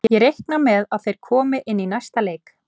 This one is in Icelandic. Ég reikna með að þeir komi inn í næsta leik.